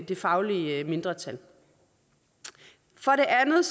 det faglige mindretal for det andet